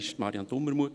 Es gibt Fakten.